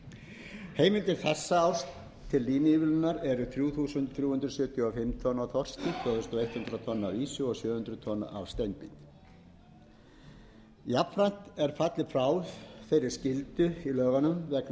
heimildir heimildir þessa árs til línuívilnunar eru þrjú þúsund þrjú hundruð sjötíu og fimm tonn af þorski tvö þúsund hundrað tonn af ýsu og sjö hundruð tonn af steinbít jafnframt er fallið frá þeirri skyldu í lögunum